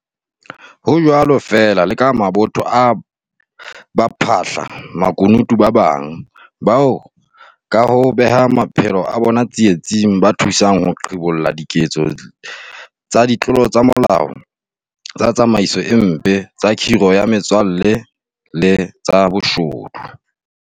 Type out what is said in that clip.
Ho jwalo feela le ka mabotho a baphahla makunutu ba bang, bao ka ho beha maphelo a bona tsie-tsing, ba thusang ho qhibolla diketso tsa ditlolo ya molao, tsa tsamaiso e mpe, tsa khiro ya metswalle le tsa boshodu.